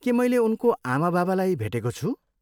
के मैले उनको आमाबाबालाई भेटेको छु?